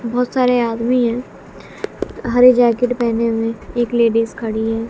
बहोत सारे आदमी है हरे जैकेट पेहने हुए एक लेडिज खड़ी है।